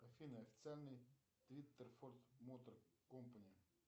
афина официальный твиттер форд мотор компани